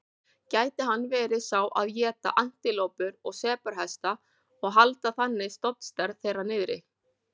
Gæti hann verið sá að éta antilópur og sebrahesta og halda þannig stofnstærð þeirra niðri?